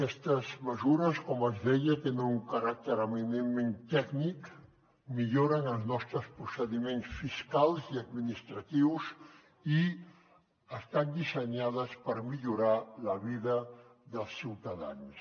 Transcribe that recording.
aquestes mesures com els deia tenen un caràcter eminentment tècnic milloren els nostres procediments fiscals i administratius i estan dissenyades per millorar la vida dels ciutadans